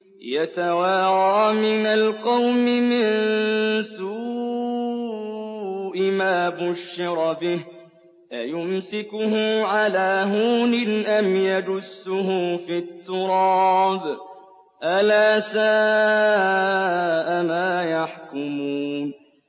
يَتَوَارَىٰ مِنَ الْقَوْمِ مِن سُوءِ مَا بُشِّرَ بِهِ ۚ أَيُمْسِكُهُ عَلَىٰ هُونٍ أَمْ يَدُسُّهُ فِي التُّرَابِ ۗ أَلَا سَاءَ مَا يَحْكُمُونَ